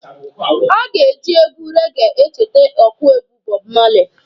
Aga eji egwu rege echete ọkụegwu Bob Marley.